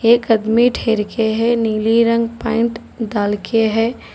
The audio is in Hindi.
एक आदमी ठहर के है नीली रंग पॉइंट डाल के है।